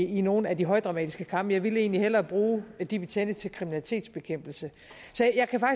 i nogle af de højdramatiske kampe jeg ville egentlig hellere bruge de betjente til kriminalitetsbekæmpelse